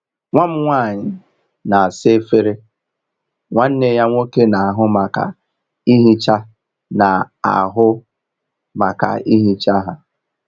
Nwa m nwanyị na-asa efere, nwanne ya nwoke na-ahụ maka ihicha na-ahụ maka ihicha ha.